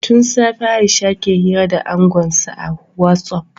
Tun safe Aisha ke hira da angonsa a Whotsupi